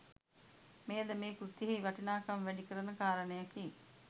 මෙයද මේ කෘතියෙහි වටිනාකම වැඩිකරන කාරණයකි.